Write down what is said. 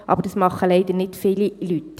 Aber dies tun leider nicht viele Leute.